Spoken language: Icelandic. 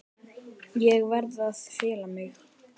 Ég verð að fela mig.